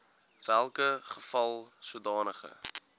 welke geval sodanige